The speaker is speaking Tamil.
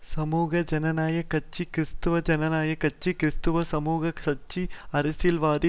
சமூக ஜனாயக் கட்சி கிறிஸ்தவ ஜனாயக கட்சி கிறிஸ்தவ சமூக கட்சி அரசியல் வாதிகள்